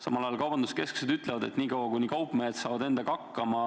Samal ajal kaubanduskeskused ütlevad, et niikaua, kuni kaupmehed saavad endaga hakkama,